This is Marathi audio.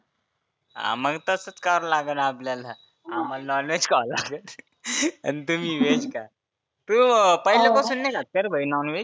हा मग तसंच करावा लागनं आपल्याला. आम्हाला नॉनव्हेज खावा लागन आणि तुम्ही व्हेज खा. तु पहिल्या पासुन नाही खात कारे भाई नॉनव्हेज?